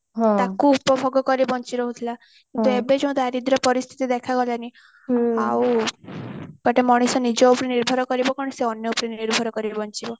ତାକୁ ଉପଭୋଗ କରି ବଞ୍ଚି ରହୁଥିଲା କିନ୍ତୁ ଏବେ ଯୋଉ ଦାରିଦ୍ୟ ପରିସ୍ଥିତି ଦେଖା ଗଲାଣି ଆଉ ଗୋଟେ ମଣିଷ ନିଜ ଉପରେ ନିର୍ଭର କରିବ କଣ ସେ ଅନ୍ୟ ଉପରେ ନିର୍ଭର କରିକି ବଞ୍ଚିବ